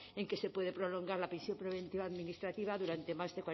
en que se puede prolongar la prisión preventiva administrativa durante más